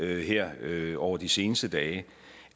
her over de seneste dage